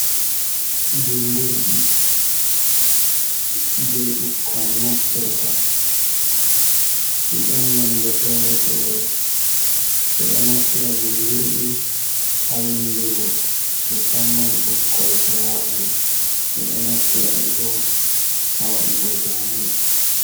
Bindirɗi je ɓukkon naftirta, ɗi ɗon nonde fere-fere, ɓe ɗo naftira bindirɗi haa windugo, mu samman ɓukkoi puramari, ɓe ɗo naftira ɗi boo haa waɗugo zaane.